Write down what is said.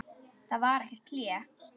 Það var ekkert hlé.